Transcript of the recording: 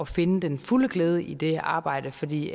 finde den fulde glæde i det arbejde fordi